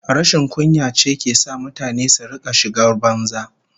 Rashin kunya ce ke sa mutane su rika shigar banza